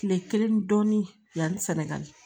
Kile kelen dɔɔnin yani sɛnɛgali